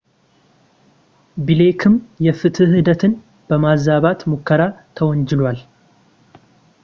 ብሌክም የፍትሕ ሂደትን በማዛባት ሙከራ ተወንጅሏል